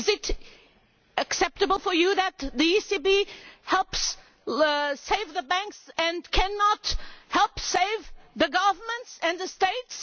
Is it acceptable to you that the ECB helps save the banks and cannot help save the governments and the states?